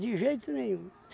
De jeito nenhum.